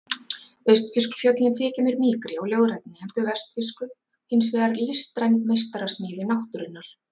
Austfirsku fjöllin þykja mér mýkri og ljóðrænni en þau vestfirsku hins vegar listræn meistarasmíði náttúrunnar.